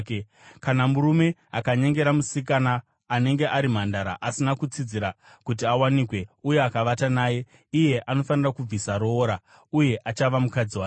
“Kana murume akanyengera musikana anenge ari mhandara asina kutsidzira kuti awanikwe uye akavata naye, iye anofanira kubvisa roora, uye achava mukadzi wake.